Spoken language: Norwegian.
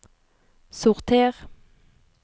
sorter